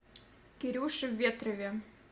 кирюше ветрове